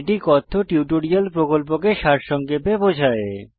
এটি কথ্য টিউটোরিয়াল প্রকল্পকে সারসংক্ষেপে বোঝায়